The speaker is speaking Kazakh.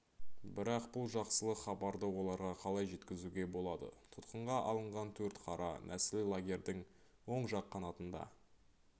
бірақ бұл жақсылық хабарды оларға қалай жеткізуге болады тұтқынға алынған төрт қара нәсіл лагердің оң жақ қанатында